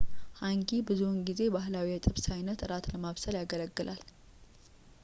ሃንጊ ብዙውን ጊዜ ባህላዊ የጥብስ አይነት እራት ለማብሰል ያገለግላል